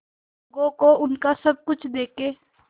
लोगों को उनका सब कुछ देके